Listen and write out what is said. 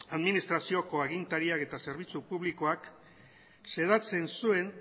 administrazioko agintariak eta zerbitzu publikoak xedatzen zuen